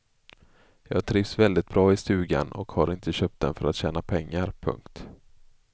Jag trivs väldigt bra i stugan och har inte köpt den för att tjäna pengar. punkt